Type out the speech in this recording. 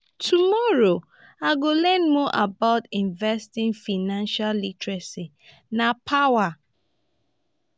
tomorrow i go learn more about investing financial literacy na power